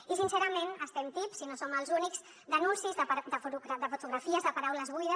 i sincerament estem tips i no som els únics d’anuncis de fotografies de paraules buides